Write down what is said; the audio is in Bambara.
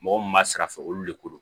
Mɔgɔ mun b'a sira fɛ olu le ko don